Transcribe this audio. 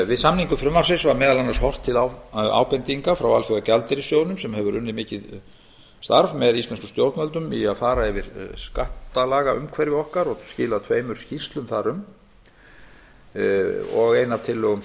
við samningu frumvarpsins var meðal annars horft til ábendinga frá alþjóðagjaldeyrissjóðnum sem hefur unnið mikið starf með íslenskum stjórnvöldum í að fara yfir skattalagaumhverfi okkar og skilað tveimur skýrslum þar um ein af tillögum